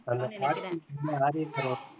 அந்த காட்சி மாறி இருக்கற